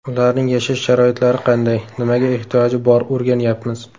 Ularning yashash sharoitlari qanday, nimaga ehtiyoji bor o‘rganyapmiz.